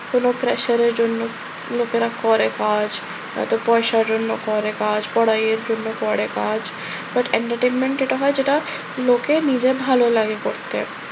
কোনো pressure এর জন্য লোকেরা করে কাজ, হয়তো পয়সার জন্য করে কাজ, পড়াইয়ের জন্য করে কাজ, but entertainment যেটা হয় সেটা লোকের নিজের ভাল লাগে করতে।